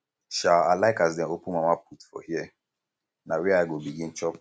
um i like as dem open mamaput for hear na um where i go begin chop